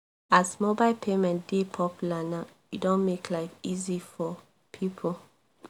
as mobile payment dey popular now e don make life easy for people